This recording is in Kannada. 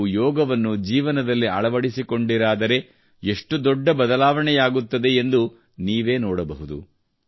ನೀವು ಯೋಗವನ್ನು ಜೀವನದಲ್ಲಿ ಅಳವಡಿಸಿಕೊಂಡಿರಾದರೆ ಎಷ್ಟು ದೊಡ್ಡ ಬದಲಾವಣೆಯಾಗುತ್ತದೆ ಎಂದು ನೀವೇ ನೋಡಬಹುದು